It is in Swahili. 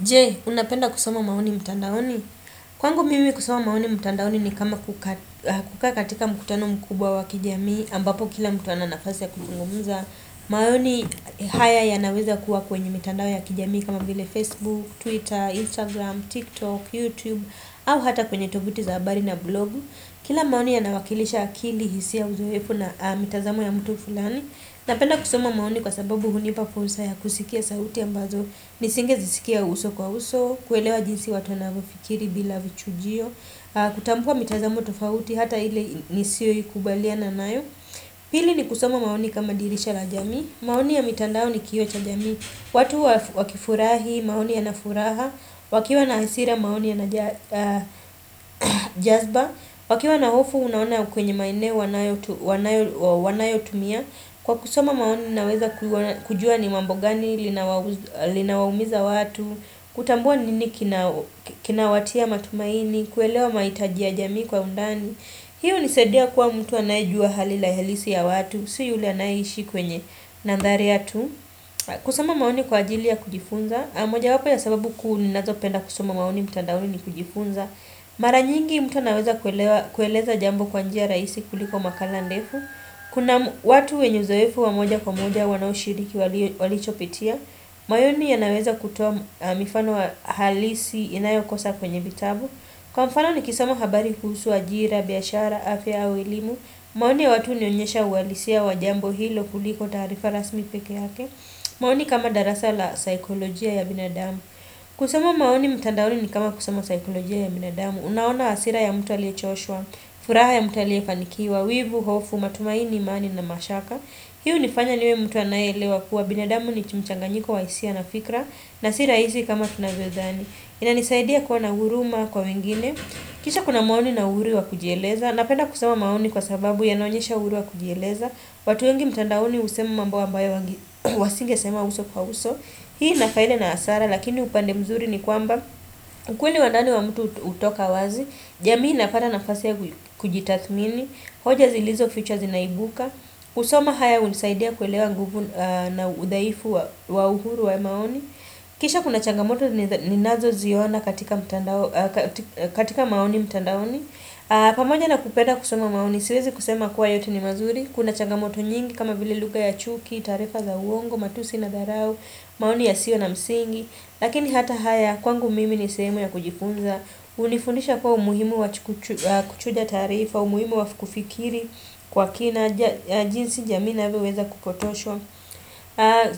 Je, unapenda kusoma maoni mtandaoni? Kwangu mimi kusoma maoni mtandaoni ni kama kukakatika mkutano mkubwa wa kijami ambapo kila mtu ananafasi ya kukungumuza. Maoni haya ya naweza kuwa kwenye mitandao ya kijami kama bile Facebook, Twitter, Instagram, TikTok, YouTube, au hata kwenye tobuti zaabari na blog. Kila maoni ya nawakilisha akili hisia uzowefu na mitazamo ya mtu fulani. Napenda kusoma maoni kwa sababu hunipa ponsa ya kusikia sauti ambazo nisinge zisikia uso kwa uso, kuelewa jinsi watu anavafikiri bila vichujio, kutampua mitazamu tofauti hata ile nisio yukubalia na nayo. Pili ni kusama maoni kama dirisha la jamii, maoni ya mitandao ni kiyo cha jamii, watu wakifurahi, maoni ya nafuraha, wakiwa na hasira maoni ya na jazba, wakiwa na hofu unaona kwenye maine wanayo tumia. Kwa kusama maoni naweza kujua ni mambo gani linawaumiza watu Kutambua nini kina watia matumaini kuelewa maitajia jamii kwa undani hiyo nisedia kwa mtu anaijua halila helisi ya watu Si yule anaiishi kwenye nandharia tu Kusama maoni kwa ajilia kujifunza moja wapo ya sababu kunazo penda kusama maoni mtandauni ni kujifunza Mara nyingi mtu naweza kueleza jambo kwa njia raisi kuliko makala ndefu Kuna watu wenyozaefu wa moja kwa moja wanao shiriki walichopitia Mayoni ya naweza kutuwa mifano wa halisi inayo kosa kwenye bitabu Kwa mfano ni kisama habari kusu wa jira, biashara, afya, awilimu maoni ya watu nionyesha uwalisia wa jambo hilo kuliko tarifa rasmi peke hake maoni kama darasa la saikolojia ya binadamu Kusama maoni mtandauli ni kama kusama saikolojia ya binadamu Unaona asira ya mutalia choshwa, furaha ya mutalia fanikiwa Wivu, hofu, matumaini, imani na mashaka Hiu nifanya niwe mtu anaele wakua binadamu ni chumchanganyiko Waisia na fikra na siraisi kama tunagwethani inanisaidia kwa nauruma kwa mingine Kisha kuna maoni na uruwa kujieleza Napenda kusama maoni kwa sababu Yanonyesha uruwa kujieleza watu yengi mtandaoni usemu mambua mbae Wasinge sema uso kwa uso Hii na faile na asara Lakini upande mzuri ni kwamba ukweli wandani wa mtu utoka wazi jamii nafada nafase kujitathmini hoja zilizo features inaibuka Usoma haya unisaidia kuelewa nguvu na udaifu wa uhuru wa maoni Kisha kuna changamoto ni nazo ziona katika maoni mtandaoni pamoja na kupeda kusoma maoni siwezi kusema kuwa yote ni mazuri Kuna changamoto nyingi kama vile luga ya chuki, tarefa za uongo, matusi na dharau, maoni ya sio na msingi Lakini hata haya kwangu mimi ni semo ya kujifunza Unifunisha kwa umuhimu wa kuchuja tarifa umuhimu wa kufikiri kwa kina jinsi jamii na weweza kupotosho